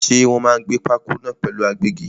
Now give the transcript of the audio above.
Ṣé Wòn máa gbẹ́ pákó náà pẹ̀lú agbẹ́gi?